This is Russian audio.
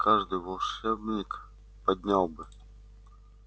каждый волшебник поднял бы